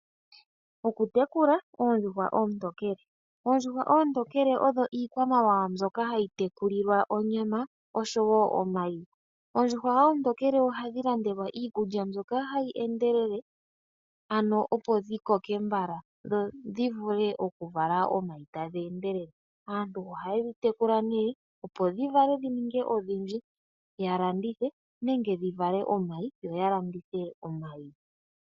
Okutekula oondjuhwa oontekele odho iikwamawawa mbyoka hayi tekulilwa onyama oshowo omayi . Oondjuhwa oontokele ohadhi landelwa iikulya mbyoka hayi endelele ano opo dhikoke mbala dho dhivule okuvala omayi tadhi endelele. Aantu oha yedhi tukulile opo dhivale dhininge odhindji ya landithe nenge dhivale omayi ya landithe.